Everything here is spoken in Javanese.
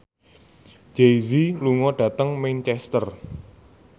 Jay Z lunga dhateng Manchester